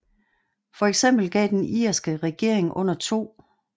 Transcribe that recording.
For eksempel gav den irske regering under 2